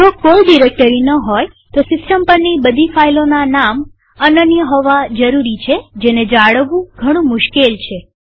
જો કોઈ ડિરેક્ટરીઓ ન હોયતો સિસ્ટમ પરની બધી ફાઈલોના નામ અનન્ય હોવા જરૂરી છેજેને જાળવવું ઘણું મુશ્કેલ છે